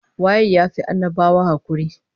Waye ya fi annabawa hakuri?